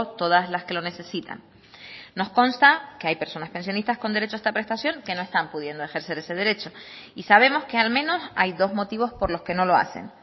todas las que lo necesitan nos consta que hay personas pensionistas con derecho a esta prestación que no están pudiendo ejercer ese derecho y sabemos que al menos hay dos motivos por los que no lo hacen